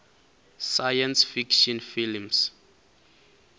science fiction films